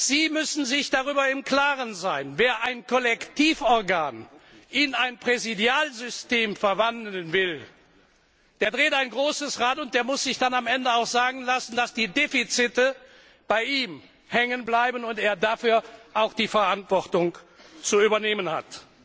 Sie müssen sich darüber im Klaren sein Wer ein Kollektivorgan in ein Präsidialsystem verwandeln will, der dreht ein großes Rad und muss sich am Ende auch sagen lassen, dass die Defizite bei ihm hängen bleiben und er dafür auch die Verantwortung zu übernehmen hat.